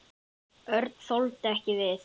Örn þoldi ekki við.